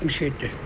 67.